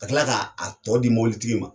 Ka kila ka a tɔ di mobili tigi ma.